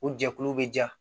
O jɛkulu bɛ ja